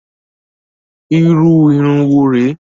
Irú irun wo re?